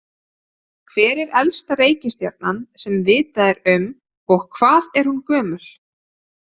Hver er elsta reikistjarnan sem vitað er um og hvað er hún gömul?